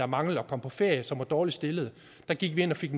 manglede at komme på ferie og som var dårligt stillet gik ind og fik